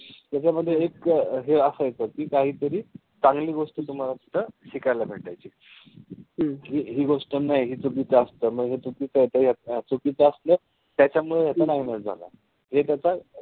त्याच्यामध्ये एक असं येत कि काहीतरी चांगली गोष्ट तुम्हाला तिथं शिकायला भेटायची. हि हि गोष्ट नाई हि चुकीचं असत. म्हणजे चुकीचं चुकीचं असत. त्याच्यामुळे ह्याचा नायनाट झाला. हे त्याचा,